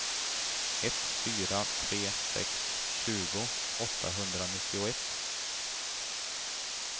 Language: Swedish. ett fyra tre sex tjugo åttahundranittioett